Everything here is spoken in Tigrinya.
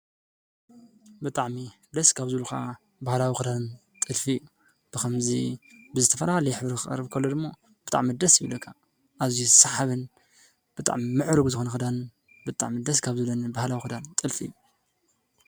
ብጣዕሚ ደስ ካብ ዝብሉካ ባህላዊ ክዳን ጥልፊ ብከምዚ ብዝተፈላለዩ ሕብሪ ክቀርብ ከሎ ድማ ብጣዕሚ ደስ ይብለካ። እዝዩ ሰሓብን ብጣዕሚ ምዕሩግ ዝኮነ ክዳን ብጣዕሚ ደስ ካብ ዝብለኒ ባህላዊ ክዳን ጥልፊ እዩ።